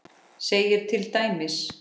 segir til dæmis